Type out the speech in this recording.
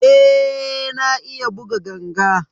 Eh na iya buga ganga.